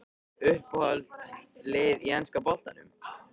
Uppáhald lið í enska boltanum?